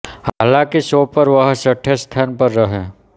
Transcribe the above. हालाँकि शो पर वह छठे स्थान पर रहे